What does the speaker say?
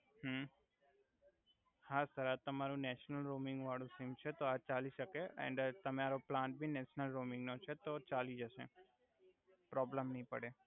હુ હ સર આ તમારુ નેશનલ રોમિંગ વાડુ સિમ છે તો આ ચાલી શકે અને તમારો પ્લાન ભી નેશનલ રોમિંગ નો છે તો ચાલી જ્સે પ્રોબલમ નઈ પડે